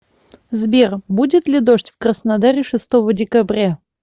сбер будет ли дождь в краснодаре шестого декабря